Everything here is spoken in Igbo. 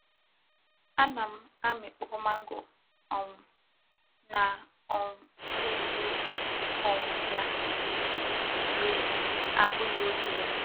Ana m amikpo mango um na um na-ere um ya mgbe abughi oge ya.